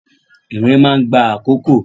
Ìrìn máa n gba àkókò